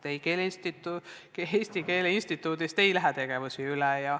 Ei, Eesti Keele Instituudist ei lähe tegevusi üle.